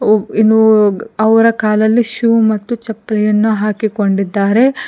ಒ ಇನ್ನುವುಗ ಅವರ ಕಾಲಲ್ಲಿ ಶೂ ಮತ್ತು ಚಪ್ಪಲಿ ಅನ್ನು ಹಾಕಿಕೊಂಡಿದ್ದಾರೆ.